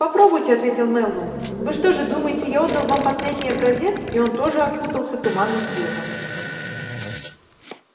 попробуйте ответил мэллоу вы что же думаете я отдал вам последний образец и он тоже окутался туманным светом